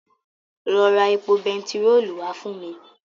Lọ ra epo bentiróòlù wá fún mi.